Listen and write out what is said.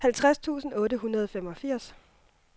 halvtreds tusind otte hundrede og femogfirs